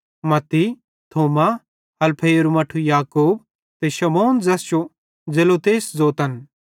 मत्ती थोमा हलफईरू मट्ठू याकूब ते शमौन ज़ैस जो जेलोतेस ज़ोतन